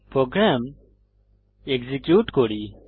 programme execute করি